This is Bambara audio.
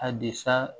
A desa